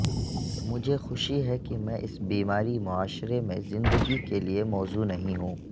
مجھے خوشی ہے کہ میں اس بیماری معاشرے میں زندگی کے لئے موزوں نہیں ہوں